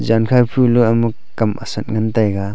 jankha phulo amuk kam asat ngan taiga.